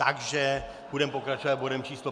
Takže budeme pokračovat bodem číslo